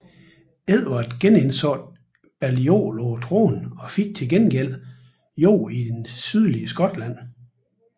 Edvard genindsatte Balliol på tronen og fik til gengæld jord i det sydlige Skotland